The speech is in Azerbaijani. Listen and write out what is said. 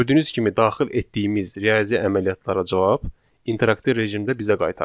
Gördüyünüz kimi daxil etdiyimiz riyazi əməliyyatlara cavab interaktiv rejimdə bizə qaytarılır.